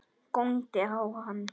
Góndi á hann.